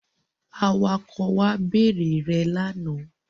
Awakọ̀ wa bèrè rẹ lánàá.